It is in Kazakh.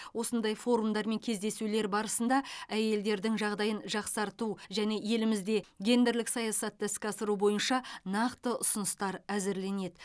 осындай форумдар мен кездесулер барысында әйелдердің жағдайын жақсарту және елімізде гендерлік саясатты іске асыру бойынша нақты ұсыныстар әзірленеді